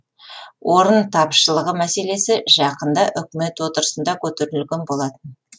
орын тапшылығы мәселесі жақында үкімет отырысында көтерілген болатын